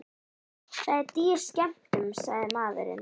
Það er dýr skemmtun, sagði maðurinn.